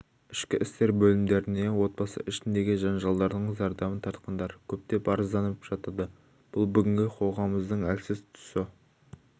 ішкі істер бөлімдеріне отбасы ішіндегі жанжалдардың зардабын тартқандар көптеп арызданып жатады бұл бүгінгі қоғамымыздың әлсіз тұсы